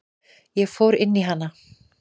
Ég fór inn í hana.